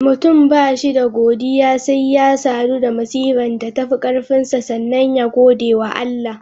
Mutum ba shi da godiya, sai ya sadu da masifan da tafi karfinsa sannan ya gode wa Allah.